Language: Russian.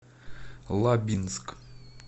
лабинск